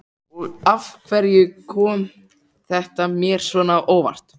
Og af hverju kom þetta mér svona á óvart?